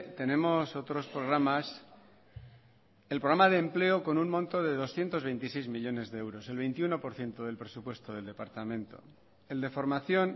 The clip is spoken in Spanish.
tenemos otros programas el programa de empleo con un monto de doscientos veintiséis millónes de euros el veintiuno por ciento del presupuesto del departamento el de formación